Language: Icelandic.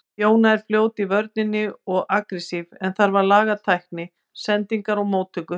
Jóna er fljót í vörninni og agressív en þarf að laga tækni, sendingar og móttöku.